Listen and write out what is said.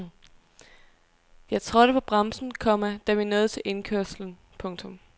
Jeg trådte på bremsen, komma da vi nåede til indkørslen. punktum